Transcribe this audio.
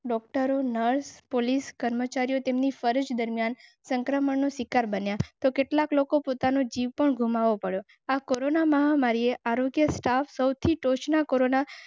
કરો nurse police કર્મચારીઓ તેમની ફરજ દરમિયાન સંક્રમણનો શિકાર બન્યા તો કેટલાક લોકો પોતાનો જીવ પણ ગુમાવી. કોરોના મહામારીએ આરોગ્ય સ્ટાફ સૌથી ટોચના કરો.